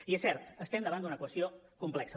i és cert estem davant d’una qüestió complexa